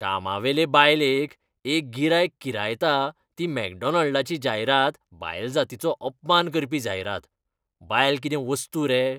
कामावेले बायलेक एक गिरायक किरायता ती मॅकडॉनाल्डाची जायरात बायलजातीचो अपमान करपी जायरात, बायल कितें वस्तू रे?